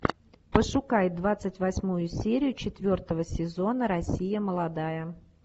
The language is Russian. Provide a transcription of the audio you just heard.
пошукай двадцать восьмую серию четвертого сезона россия молодая